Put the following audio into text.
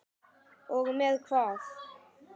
Og með hvað?